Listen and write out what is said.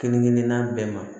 Kelen kelenna bɛɛ ma